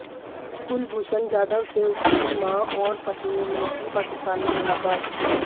कुलभूषण जाधव से उनकी मां और पत्नी ने की पाकिस्तान में मुलाकात